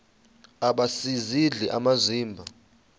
aba sisidl amazimba